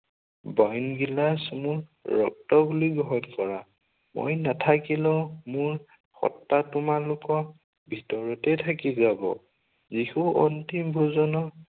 বাইন গিলাচ মোৰ ৰক্ত বুলি গ্ৰহণ কৰা। মই নাথাকিলেও মোৰ সত্বা তোমালোকক ভিতৰতেই থাকি যাব। যীশুৰ অন্তিম ভোজনত